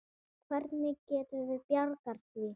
Hvernig getum við bjargað því?